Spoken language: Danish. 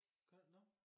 Gør nåh